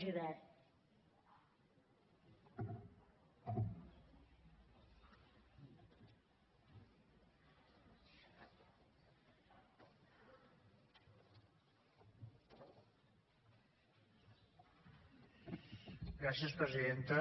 gràcies presidenta